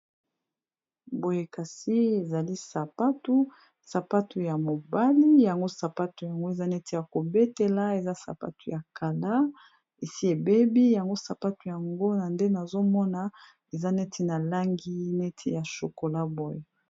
boye kasi ezali sapatu sapatu ya mobali yango sapatu yango eza neti ya kobetela eza sapatu ya kala esi ebebi yango sapatu yango na nde nazomona eza neti na langi neti ya shokola boye